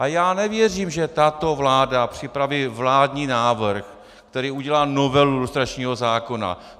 A já nevěřím, že tato vláda připraví vládní návrh, který udělá novelu lustračního zákona.